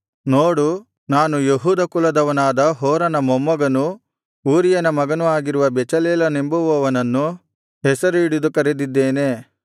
ನೋಡು ನಾನು ಯೆಹೂದ ಕುಲದವನಾದ ಹೂರನ ಮೊಮ್ಮಗನೂ ಊರಿಯನ ಮಗನೂ ಆಗಿರುವ ಬೆಚಲೇಲನೆಂಬುವನನ್ನು ಹೆಸರು ಹಿಡಿದು ಕರೆದಿದ್ದೇನೆ